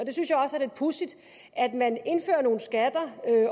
lidt pudsigt at man indfører nogle skatter